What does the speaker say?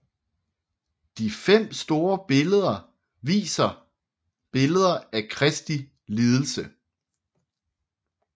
De fem store viser billeder af Kristi lidelse